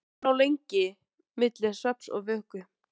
Ragnhildur lá lengi milli svefns og vöku.